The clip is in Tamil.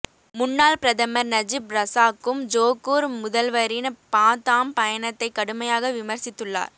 முன்னாள் பிரதமர் நஜிப் ரசாக்கும் ஜோகூர் முதல்வரின் பாத்தாம் பயணத்தை கடுமையாக விமர்சித்துள்ளார்